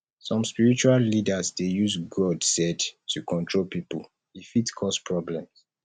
some spiritual leaders dey use god said to control pipo e fit cause problems